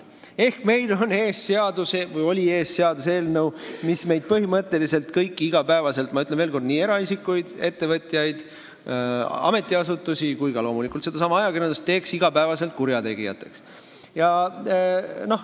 Meie ees oli seaduseelnõu, mis teinuks põhimõtteliselt meist kõigist – ma ütlen veel kord: nii eraisikutest, ettevõtjatest, ametiasutustest kui ka sellestsamast ajakirjandusest – igapäevased kurjategijad.